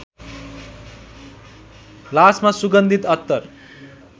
लासमा सुगन्धित अत्तर